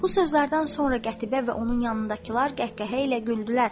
Bu sözlərdən sonra Qətibə və onun yanındakılar qəhqəhə ilə güldülər.